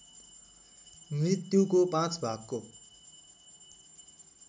मृत्युको पाँच भागको